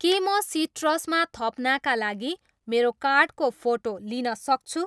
के म सिट्रसमा थप्नाका लागि मेरो कार्डको फोटो लिन सक्छु?